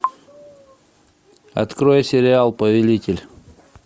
открой сериал повелитель